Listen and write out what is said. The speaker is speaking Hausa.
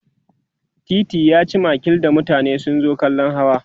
titi yaci makil da mutane sun zo kallan hawa